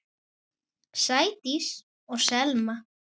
Sædís og Selma.